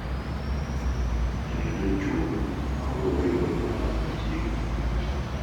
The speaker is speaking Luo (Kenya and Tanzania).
Kendo jochung’ ma wuok e gwenge man machiegni